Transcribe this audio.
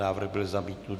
Návrh byl zamítnut.